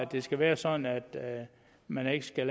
det skal være sådan at man ikke skal